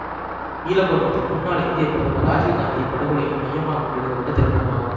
ஈழப்போர் மற்றும் முன்னாள் இந்திய பிரதமர் ராஜீவ் காந்தியின் படுகொலையும் மையமாக கொண்டு எடுக்க பட்ட திரைப்படமாகும்